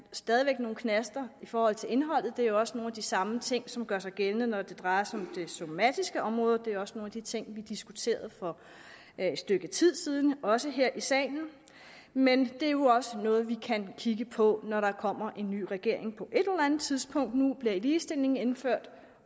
stadig væk nogle knaster i forhold til indholdet det er jo også nogle af de samme ting som gør sig gældende når det drejer sig om det somatiske område det er også nogle af de ting vi diskuterede for et stykke tid siden også her i salen men det er jo også noget vi kan kigge på når der kommer en ny regering på et eller andet tidspunkt nu bliver ligestillingen indført